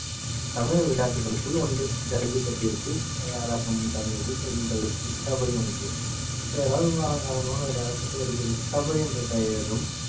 தமிழ் விளையாட்டுகளுக்குள் ஒன்று ஜல்லிக்கட்டிற்கு தயாராகவும் தமிழர்கள் செய்யும் பயிற்சி கபடி ஒன்று வேற காலம் காலமாக விளையாடப்பட்டு வருகிறது கபடி என்ற பெயரும்